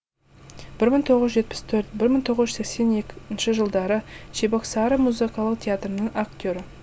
бір мың тоғыз жүз жетпіс төрт бір мың тоғыз жүз сексен екінші жылдары чебоксары музыкалық театрының актері